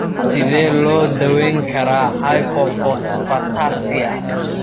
Sidee loo daweyn karaa hypophosphatasia?